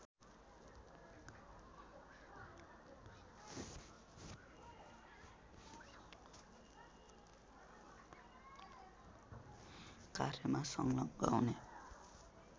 कार्यमा संलग्न हुने